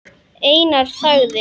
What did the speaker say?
Einar þagði.